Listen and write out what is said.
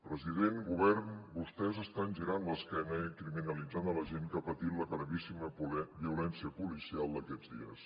president govern vostès estan girant l’esquena i criminalitzant la gent que ha patit la gravíssima violència policial d’aquests dies